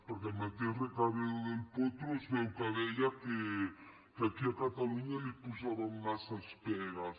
perquè el mateix recaredo del potro es veu que deia que aquí a catalunya li posaven massa pegues